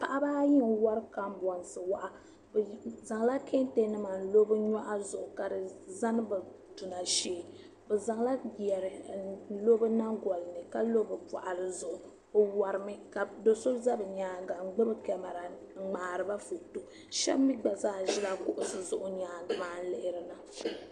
Paɣiba ayi n wari kam bɔnsi waa bi zaŋla kan tɛnima nlɔ bi nyɔɣuŋzuɣu ka diza duna shee bizaŋ la yari n lo bi nyiŋ. golini kalo bi bɔɣiri zuɣu bi wari mi ka doso zabi nyaaŋa ngbubi kamara n mŋaariba fatɔ shab mi gba zaa zila binizuɣu, bi nyaaŋa maa nlihiriba.